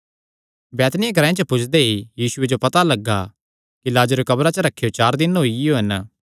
बैतनिय्याह ग्रांऐ च पुज्जदे ई यीशुये जो एह़ पता लग्गा कि लाजरेयो कब्रा च रखेयो चार दिन होईयो हन